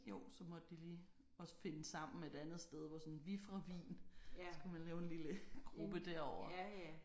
Jo så måtte de lige også finde sammen et andet sted hvor sådan vi fra Wien så kan man lave en lille gruppe derovre